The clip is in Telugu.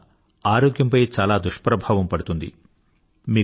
దాని వల్ల ఆరోగ్యంపై చాలా దుష్ప్రభావం పడుతుంది